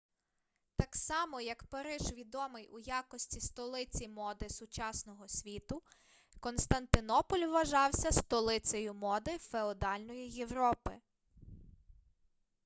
так само як париж відомий у якості столиці моди сучасного світу константинополь вважався столицею моди феодальної європи